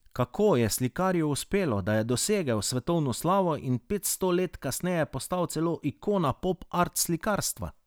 Kako je slikarju uspelo, da je dosegel svetovno slavo in petsto let kasneje postal celo ikona pop art slikarstva?